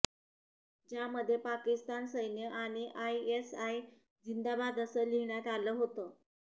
ज्यामध्ये पाकिस्तान सैन्य आणि आयएसआय झिंदाबाद असं लिहिण्यात आलं होतं